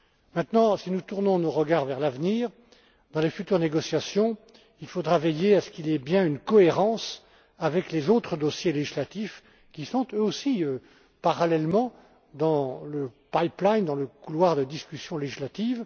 Maintenant, si nous tournons nos regards vers l'avenir, dans les futures négociations, il faudra veiller à ce qu'il y ait bien une cohérence avec les autres dossiers législatifs qui sont, eux aussi, parallèlement dans les tuyaux, dans le couloir de discussion législative.